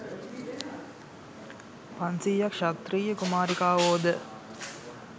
පන්සියයක් ක්‍ෂත්‍රිය කුමාරිකාවෝ ද